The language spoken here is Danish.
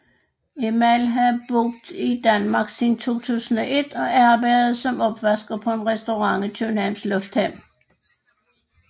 Emal havde boet i Danmark siden 2001 og arbejdede som opvasker på en restaurant i Københavns Lufthavn